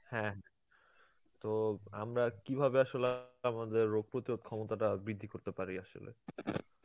হ্যাঁ, তো আমরা কীভাবে আসলা আমাদের রোগ প্রতিরোধ ক্ষমতাটা বৃদ্ধি করতে পারি আসলে